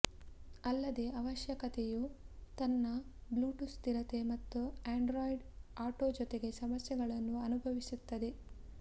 ಅಲ್ಲದೆ ಅವಶ್ಯಕತೆಯು ತನ್ನ ಬ್ಲೂಟೂತ್ ಸ್ಥಿರತೆ ಮತ್ತು ಆಂಡ್ರಾಯ್ಡ್ ಆಟೊ ಜೊತೆಗೆ ಸಮಸ್ಯೆಗಳನ್ನು ಅನುಭವಿಸುತ್ತದೆ